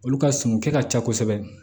Olu ka sun kɛ ka ca kosɛbɛ